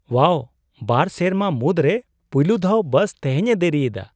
ᱳᱣᱟᱣ, ᱵᱟᱨ ᱥᱮᱨᱢᱟ ᱢᱩᱫᱨᱮ ᱯᱩᱭᱞᱩ ᱫᱷᱟᱣ ᱵᱟᱥ ᱛᱮᱦᱮᱧ ᱮ ᱫᱮᱨᱤᱭᱮᱫᱟ ᱾